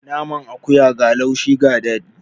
Naman akuya ga laushi ga daɗi.